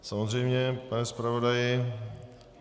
Samozřejmě, pane zpravodaji.